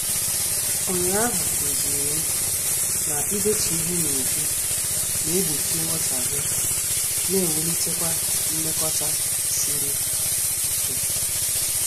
Ụnyaahụ kụzirim na-idetu ihe n'uju na- egbochi nghotaghie na ewulitekwa mmekota sịrị ike.